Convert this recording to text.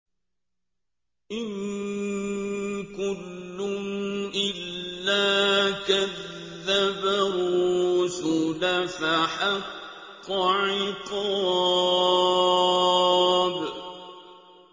إِن كُلٌّ إِلَّا كَذَّبَ الرُّسُلَ فَحَقَّ عِقَابِ